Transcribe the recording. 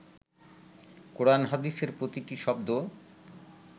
কোরান হাদিসের প্রতিটি শব্দ